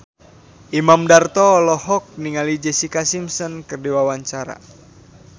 Imam Darto olohok ningali Jessica Simpson keur diwawancara